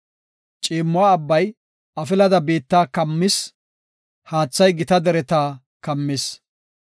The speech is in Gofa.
Ciimmo abbay afilada biitta kammis; haathay gita dereta kammis.